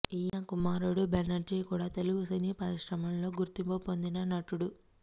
ఈయన కుమారుడు బెనర్జీ కూడా తెలుగు సినీ పరిశ్రమలో గుర్తింపు పొందిన నటుడు